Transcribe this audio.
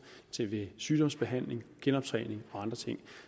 til sygdomsbehandling genoptræning og andre ting